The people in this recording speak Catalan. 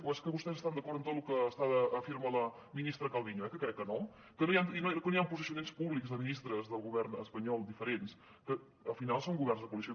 o és que vostès estan d’acord amb tot lo que afirma la ministra calviño eh que crec que no que no hi han posicionaments públics de ministres del govern espanyol diferents que al final són governs de coalició